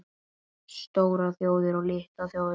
STÓRAR ÞJÓÐIR OG LITLAR ÞJÓÐIR